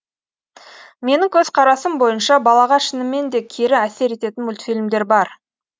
менің көзқарасым бойынша балаға шынымен де кері әсер ететін мультфильмдер бар